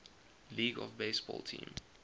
league baseball team